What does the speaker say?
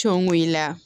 Cɔngo i la